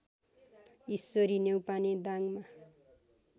Ishwari Neupane दाङमा